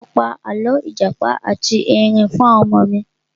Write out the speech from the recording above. Mo pa àlọ́ ìjàpá ati Ẹrin fún àwọn ọmọ mi.